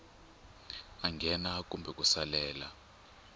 a nghena kumbe ku salela